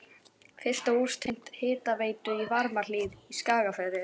Fyrsta hús tengt hitaveitu í Varmahlíð í Skagafirði.